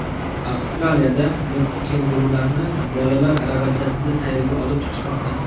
Avstraliyada mitti kengurularni bolalar aravachasida sayrga olib chiqishmoqda .